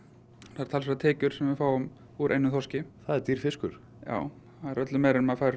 það eru talsverðar tekjur sem við fáum úr einum þorski það er dýr fiskur já það er öllu meira en maður fær